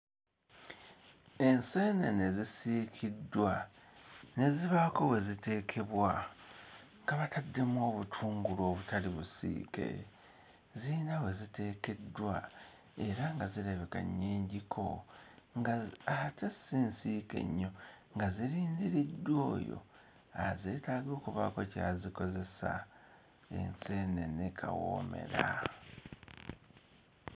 Enseenene zisiikiddwa ne zibaako we ziteekebwa nga bataddemu obutungulu obutali busiike ziyina we ziteekeddwa era nga zirabika nnyingiko ng'ate si nsiike nnyo nga zirindiriddwa oyo azeetaaga okubaako ky'azikozesa enseenene kawoomera.